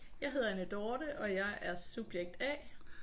Jeg hedder Anne Dorthe og jeg er subjekt A